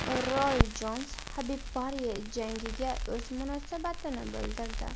Roy Jons HabibPorye jangiga o‘z munosabatini bildirdi.